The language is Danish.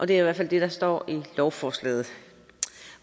det er i hvert fald det der står i lovforslaget